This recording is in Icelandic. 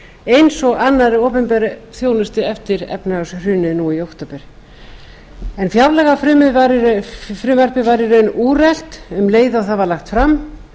eins og annarri opinberri þjónustu eftir efnahagshrunið núna í október en fjárlagafrumvarpið var í raun úrelt um leið og það var lagt fram vinnan